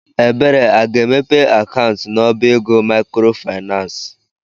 Ebere afa-emepe akaụntụ n'ọbá ego maịkrofaịnans?